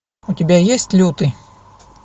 у тебя есть лютый